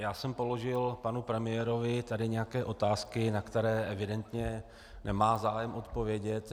Já jsem položil panu premiérovi tady nějaké otázky, na které evidentně nemá zájem odpovědět.